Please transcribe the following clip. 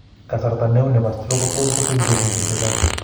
Kasarta ne uu ne po stroke ko tos' kotepi betusiek chechang'.